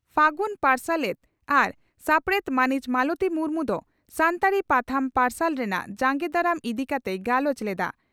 ᱯᱦᱟᱹᱜᱩᱱ ᱯᱟᱨᱥᱟᱞᱮᱛ ᱟᱨ ᱥᱟᱯᱲᱮᱛ ᱢᱟᱹᱱᱤᱡ ᱢᱟᱞᱚᱛᱤ ᱢᱩᱨᱢᱩ ᱫᱚ ᱥᱟᱱᱛᱟᱲᱤ ᱯᱟᱛᱷᱟᱢ ᱯᱟᱨᱥᱟᱞ ᱨᱮᱱᱟᱜ ᱡᱟᱸᱜᱮ ᱫᱟᱨᱟᱢ ᱤᱫᱤ ᱠᱟᱛᱮᱭ ᱜᱟᱞᱚᱪ ᱞᱮᱫᱼᱟ ᱾